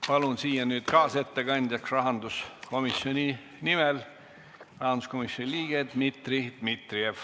Palun siia nüüd kaasettekandjaks rahanduskomisjoni liikme Dmitri Dmitrijevi!